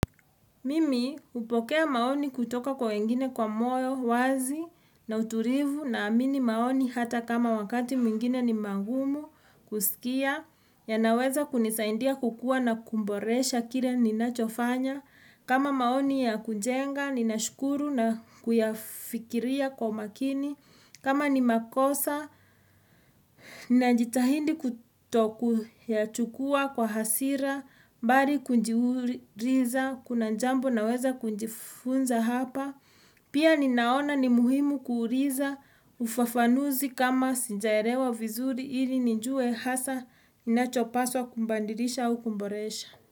Mimi hupokea maoni kutoka kwa wengine kwa moyo wazi na utulivu naamini maoni hata kama wakati mwingine ni magumu kusikia ya naweza kunisaidia kukua na kuboresha kile ni nachofanya. Kama maoni ya kujenga, nina shukuru na kuyafikiria kwa makini. Kama ni makosa, ninajitahindi kutoku ya chukua kwa hasira, bali kujiuliza, kuna jambo na weza kunjifunza hapa. Pia ninaona ni muhimu kuuliza, ufafanuzi kama sijalewa vizuri ili nijue hasa, ninachopaswa kubandilisha au kuboresha.